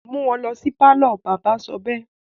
mú wọn lọ sí pálọ̀! bàbá sọ bẹ́ẹ̀.